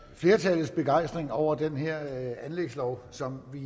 flertallets begejstring over den her anlægslov som vi